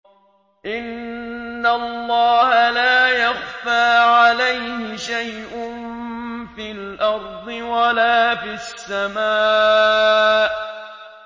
إِنَّ اللَّهَ لَا يَخْفَىٰ عَلَيْهِ شَيْءٌ فِي الْأَرْضِ وَلَا فِي السَّمَاءِ